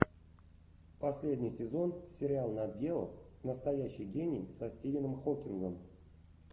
последний сезон сериал нат гео настоящий гений со стивеном хоккингом